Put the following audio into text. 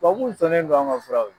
Tubabuw sɔnnen do an ka fura ye.